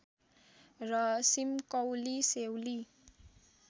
र सिम्कौली सेउली